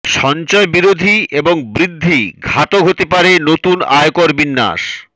সঞ্চয় বিরোধী এবং বৃদ্ধি ঘাতক হতে পারে নতুন আয়কর বিন্যাস